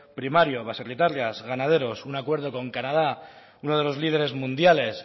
primerio baserritarras ganaderos un acuerdo con canadá uno de los líderes mundiales